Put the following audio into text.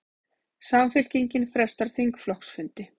Samfylkingin frestar þingflokksfundi